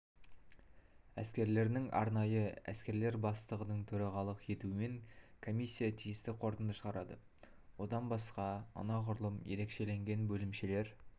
әскерлерінің арнайы әскерлер бастығының төрағалық етуімен комиссия тиісті қорытынды шығарады одан басқа анағұрлым ерекшеленген бөлімшелер